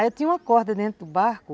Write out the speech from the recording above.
Aí eu tinha uma corda dentro do barco,